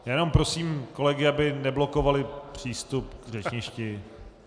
Jenom prosím kolegy, aby neblokovali přístup k řečništi.